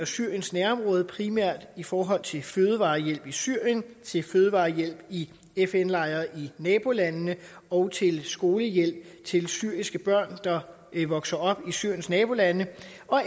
syriens nærområde primært i forhold til fødevarehjælp i syrien til fødevarehjælp i fn lejre i nabolandene og til skolehjælp til syriske børn der vokser op i syriens nabolande